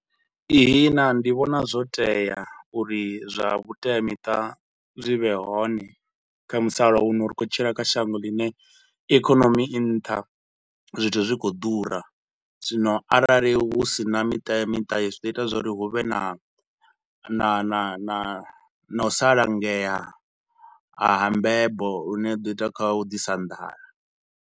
Ihina ndi vhona zwo tea uri zwa vhuteamiṱa zwi vhe hone kha musalauno ri khou tshila kha shango ḽine ikonomi i nṱha, zwithu zwi khou ḓura. Zwino arali hu si na miteamiṱa hezwi zwi ḓo ita uri hu vhe na na na na u sa langea ha mbebo lune zwi do ita kha u ḓisa nḓala.